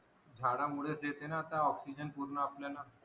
झाडा मुळेच येते ना आता ऑक्सिजन पूर्ण आपल्याला